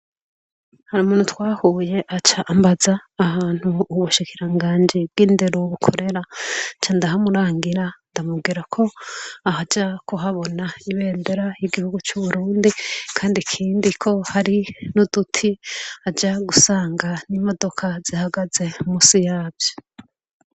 Harumuntu twahuye aca am baza ahantu ubushikirangaji bw'indero bukorera nca ndahamurangira ndamubwira ko aja kuhablna ibendera ry'Uburundi kandi ikindi ko hari nuduti aza gusanga imodoka ihagaze musi yatwo.